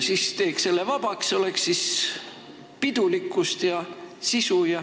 Teeks selle vabaks, siis oleks pidulikkust ja sisu.